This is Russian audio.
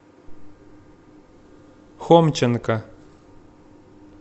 хомченко